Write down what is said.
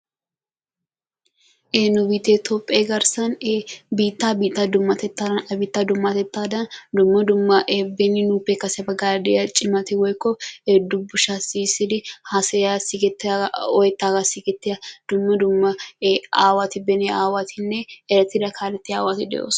nu biitte toophe garssan biittaa biitta dummatettaadan, a biittaa dummatettadan dumma dumma beni nuuppe kase baggaara de'iyaa cimata woykko dubbushsha shiishshidi haassayiya woykko oyetaaga siggeetiyaaga dumma dumma aawati, beni aawatinne erettida kaaletiyaa aawati de'oosona.